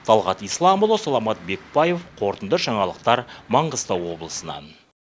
талғат исламұлы саламат бекбаев қорытынды жаңалықтар маңғыстау облысынан